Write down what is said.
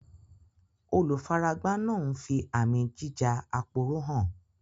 Olùfaragbá náà ń fi àmì jíja-aporó hàn